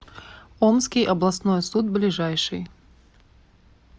омский областной суд ближайший